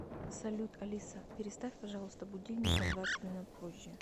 салют алиса переставь пожалуйста будильник на двадцать минут позже